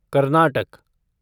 Karnataka